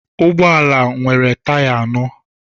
Ụgbọ ala nwere taya anọ